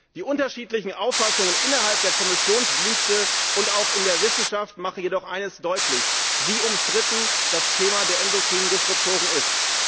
Die unterschiedlichen Auffassungen innerhalb der Kommissionsdienste und auch in der Wissenschaft machen jedoch deutlich, wie umstritten das Thema der endokrinen Disruptoren ist.